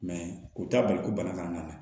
u t'a bali ko bana kana na